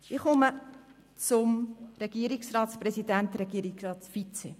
Ich komme zum Regierungsratspräsident und zum Regierungsratsvizepräsident.